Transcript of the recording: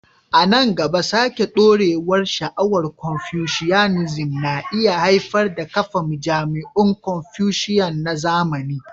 A nan gaba, sake dawowar sha'awar Confucianism na iya haifar da kafa majami'un Confucian na zamani.